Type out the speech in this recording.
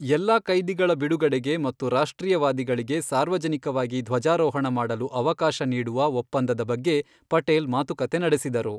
ಎಲ್ಲಾ ಕೈದಿಗಳ ಬಿಡುಗಡೆಗೆ ಮತ್ತು ರಾಷ್ಟ್ರೀಯವಾದಿಗಳಿಗೆ ಸಾರ್ವಜನಿಕವಾಗಿ ಧ್ವಜಾರೋಹಣ ಮಾಡಲು ಅವಕಾಶ ನೀಡುವ ಒಪ್ಪಂದದ ಬಗ್ಗೆ ಪಟೇಲ್ ಮಾತುಕತೆ ನಡೆಸಿದರು.